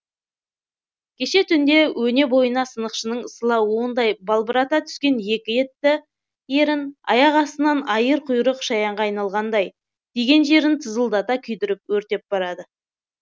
кеше түнде өне бойына сынықшының сыла уындай балбырата түскен екі етті ерін аяқ астынан айыр құйрық шаянға айналғандай тиген жерін тызылдата күйдіріп өртеп барады